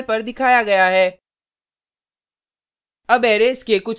output terminal पर दिखाया गया है